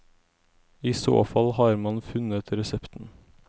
I så fall har man funnet resepten.